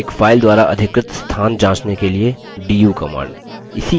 एक file द्वारा अधिकृत स्थान जाँचने के लिए du command